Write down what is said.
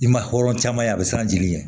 I ma hɔrɔn caman ye a bɛ siran jeli ɲɛ